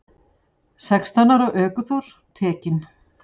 Sextán ára ökuþór tekinn